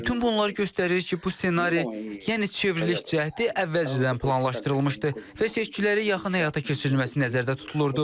Bütün bunlar göstərir ki, bu ssenari, yəni çevriliş cəhdi əvvəlcədən planlaşdırılmışdı və seçkilərə yaxın həyata keçirilməsi nəzərdə tutulurdu.